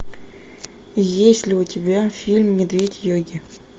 есть ли у тебя фильм медведь йоги